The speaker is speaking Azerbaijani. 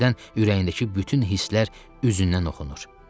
Hərdən ürəyindəki bütün hisslər üzündən oxunur.